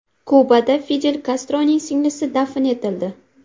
Kubada Fidel Kastroning singlisi dafn etildi.